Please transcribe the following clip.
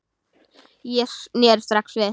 Ég sneri strax við.